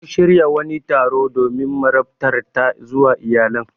Sun shirya wani taro domin marabtar ta zuwa iyalan.